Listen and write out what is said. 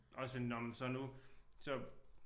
Også for nåh men så nu så